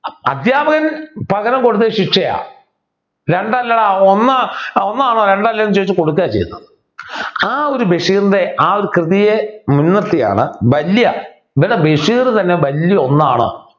അധ്യാപകൻ പകരം കൊടുത്തത് ശിക്ഷയാ രണ്ടല്ലെടാ ഒന്ന് ഒന്നാണ് രണ്ടല്ല എന്ന് ചോദിച്ച കൊടുക്ക ചെയ്തത് ആ ഒരു ബഷീറിൻ്റെ ആ ഒരു കൃതിയെ മുൻനിർത്തിയാണ് വല്യ ഇവിടെ ബഷീർ തന്നെ വല്യ ഒന്നാണ്